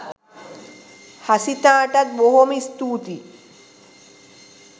හසිතාටත් බොහොම ස්තූතියි.